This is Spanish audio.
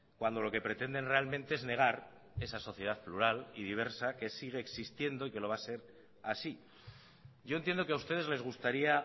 cuando lo que pretenden realmente es negar esa sociedad plural y diversa que sigue existiendo y que lo va a ser así yo entiendo que a ustedes les gustaría